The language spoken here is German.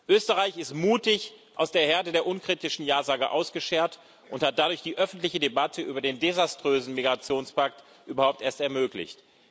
Österreich ist mutig aus der Herde der unkritischen Jasager ausgeschert und hat dadurch die öffentliche Debatte über den desaströsen Migrationspakt überhaupt erst ermöglicht.